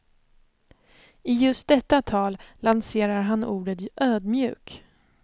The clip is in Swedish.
I just detta tal lanserar han ordet ödmjuk.